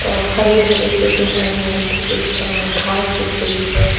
अ हरे भरे से जो है वो थोड़ी घास दिख रही है --